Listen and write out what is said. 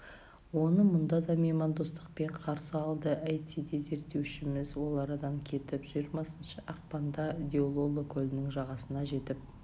оны мұнда да меймандостықпен қарсы алды әйтсе де зерттеушіміз ол арадан кетіп жиырмасыншы ақпанда диололо көлінің жағасына жетіп